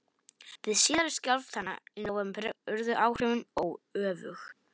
Við síðari skjálftana í nóvember urðu áhrifin öfug.